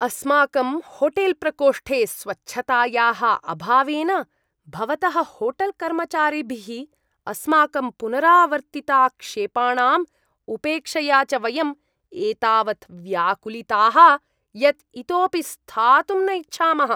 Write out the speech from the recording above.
अस्माकं होटेल्प्रकोष्ठे स्वच्छतायाः अभावेन, भवतः होटेल्कर्मचारिभिः अस्माकं पुनरावर्तिताक्षेपाणां उपेक्षया च वयम् एतावत् व्याकुलिताः यत् इतोपि स्थातुं न इच्छामः।